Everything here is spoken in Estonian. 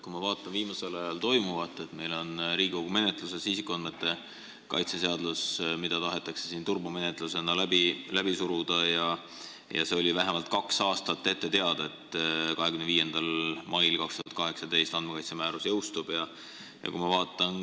Kui ma vaatan, mis meil viimasel ajal toimub, siis Riigikogu menetluses on isikuandmete kaitse seadus, mida tahetakse turbomenetlusega läbi suruda, ehkki see oli vähemalt kaks aastat ette teada, et andmekaitsemäärus jõustub 25. mail 2018.